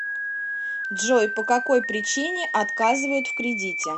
джой по какой причине отказывают в кредите